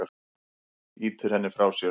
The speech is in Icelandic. Ýtir henni frá sér.